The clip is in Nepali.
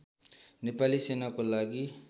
नेपाली सेनाको लागि